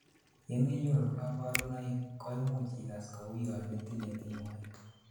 yemenyoru kaborunoik, koimuch igas kouyonitinyei tingoek